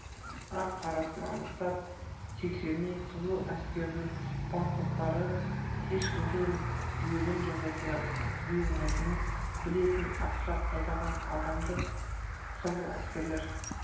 ақ-қарасын анықтап тексермей қызыл әскердің бастықтары ешкімді өлім жазасына бұйырмайтынын білетін асқар айдаған адамды қызыл әскерлер